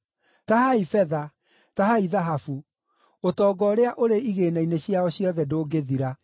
Tahai betha! Tahai thahabu! Ũtonga ũrĩa ũrĩ igĩĩna-inĩ ciao ciothe ndũngĩthira!